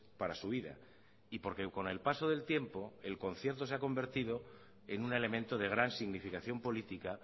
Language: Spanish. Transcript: para su vida y porque con el paso del tiempo el concierto se ha convertido en un elemento de gran significación política